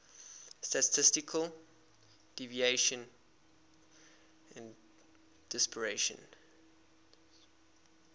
statistical deviation and dispersion